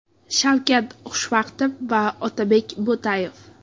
Shavkat Xushvaqtov va Otabek Bo‘tayev.